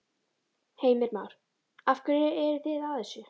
Heimir Már: Af hverju eru þið að þessu?